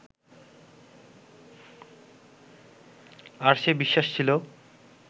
আর সে বিশ্বাস ছিল